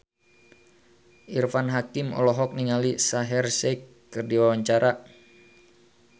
Irfan Hakim olohok ningali Shaheer Sheikh keur diwawancara